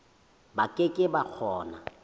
ba ke ke ba kgona